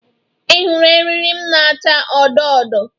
Ị hụrụ eriri m na-acha odo odo?